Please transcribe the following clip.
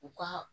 U ka